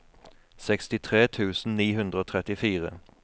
sekstitre tusen ni hundre og trettifire